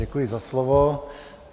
Děkuji za slovo.